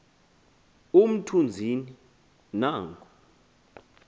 umthu nzini nanku